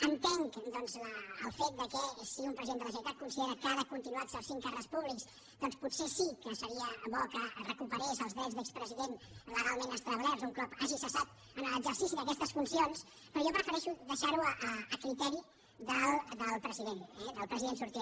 entenc el fet que si un president de la generalitat considera que ha de continuar exercint càrrecs públics doncs potser sí que seria bo que recuperés els drets d’expresident legalment establerts un cop hagi cessat en l’exercici d’aquestes funcions però jo prefereixo deixar ho a criteri del president sortint